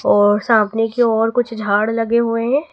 और सामने की ओर कुछ झाड़ लगे हुए हैं।